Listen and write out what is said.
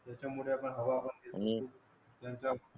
त्याच्या मुळे आता